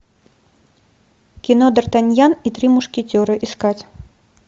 кино д артаньян и три мушкетера искать